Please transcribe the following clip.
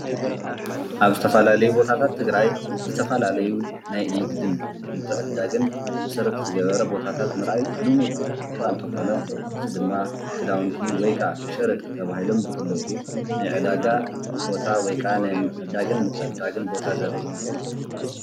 ኣብ ዝተፈላለዩ ቦታት ትግራይ ዝተፈላለዩ ናይ ንግድን ምትዕድዳግን መሰርት ዝገበረ ቦታት ምርኣይ ልሙድ እካ እንተኾነ እዚ ድማ ክዳውንቲ ወይ ካዓ ሽርጥ ተበሂሎም ዝፍለጡ ናይ ዕዳጋ ቦታ ወይ ከዓ ናይ ምዕዳግን ምትዕድዳግን ቦታ ዘርኢ እዩ።